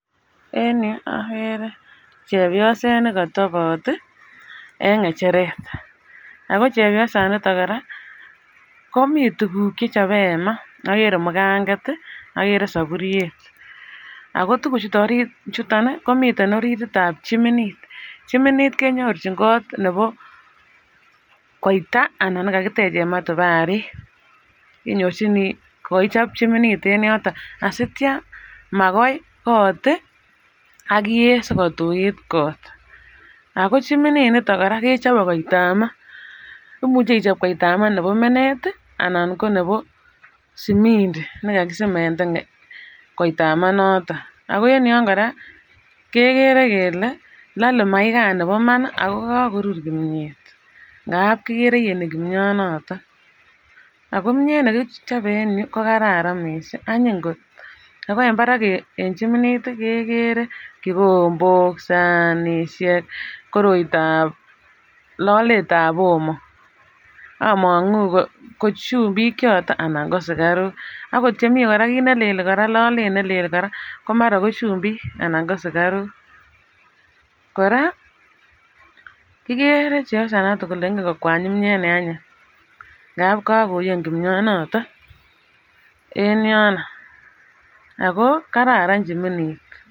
En Yu agere chepyoset nekatabat ii en ngecheret ago chepyosaniton koraa ko mi tuguk chechobe en maa agere mukanget ,agere sabutyet ago tuguk chuton komiten oriritab chiminit , chiminit kenyorchin kot nebo koita anan nekakitechen matubaruk inyorchini kokakichob chiminit en yoton asimakitya kogoo kot ak iyet sikotuit kot ago chiminit niton koraa kechope koitabmaa imuche ichop koitabmaa nebo menet anan ko nebo simindi nekakisemenden koitabmaa noton ago en yon koraa kegere kele lole maikan nebo Iman ago kagorur kimyet ngap kigere koyeni kimnyon noton ago kimyet nekichope en yuu kokararan miisik anyiny kot ago en mbarak en chiminit kegere kikombok ,sanishek korotab loletab omo omongu ko chupik choton anan ko sukaruk okot chemi kiitnelel koraa lolet nelel koraa ko mara ko chupik anan ko sukaruk koraa kigere chepyosaniton kole ingen kokwany kimyet ne anyiny ngap kakoyen kimnyon noton en yono ago kararan chiminit.